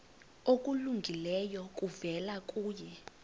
okulungileyo kuvela kuye